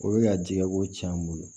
O bɛ ka jɛgɛ ko cɛn an bolo